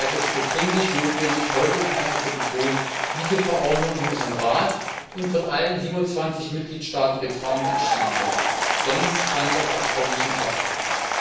Ich halte es für dringend notwendig, heute noch einmal zu betonen, dass diese Verordnung im Rat und von allen 27 Mitgliedstaaten getragen und entschieden werden muss, sonst kann das Abkommen nicht in Kraft treten.